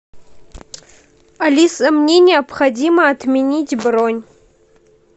алиса мне необходимо отменить бронь